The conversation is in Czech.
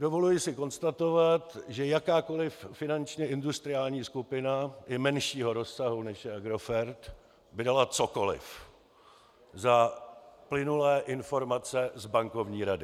Dovoluji si konstatovat, že jakákoliv finančně industriální skupina i menšího rozsahu, než je Agrofert, by dala cokoliv za plynulé informace z bankovní rady.